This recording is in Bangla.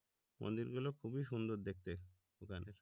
মন্দির গুলো খুবই সুন্দর দেখতে ওখানে